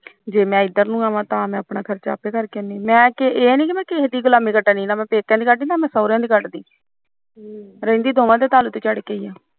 ਜੇ ਇਧਰ ਨੂੰ ਆਵਾ ਤਾਂ ਆਪਣਾ ਖਰਚਾ ਆਪ ਕਰਕੇ ਆਉੰਦੀ ਮੈਂ ਨੀ ਕਿਸੇ ਦੀ ਗੁਲਾਮੀ ਕਟਦੀ ਨਾ ਮੈਂ ਪੇਕਿਆੰ ਦੀ ਕਟਦੀ ਨਾ ਮੈਂ ਸਹੁਰਿਆਂ ਦੀ ਕਰਦੀ ਰਹਿੰਦੀ ਦੋਵਾਂ ਦੇ ਤਲ ਤੇ ਚੜ ਕੇ